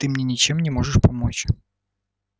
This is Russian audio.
ты мне ничем не можешь помочь